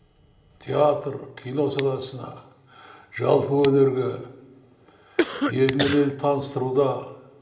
театр кино саласына жалпы өнерге елмен елді таныстыруда